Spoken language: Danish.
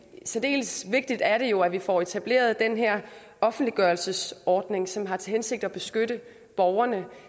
særdeles vigtigt er det jo at vi får etableret den her offentliggørelsesordning som har til hensigt at beskytte borgerne